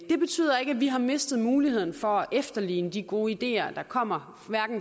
betyder ikke at vi har mistet muligheden for at efterligne de gode ideer der kommer